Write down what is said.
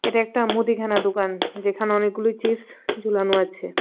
এটা একটা মুদিখানার দোকান যেখানে অনেকগুলি চিপস ঝুলানো আছে.